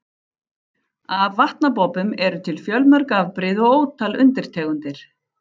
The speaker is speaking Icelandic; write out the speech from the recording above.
Af vatnabobbum eru til fjölmörg afbrigði og ótal undirtegundir.